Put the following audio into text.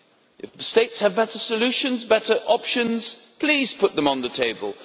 If Member States have better solutions, better options, please put them on the table.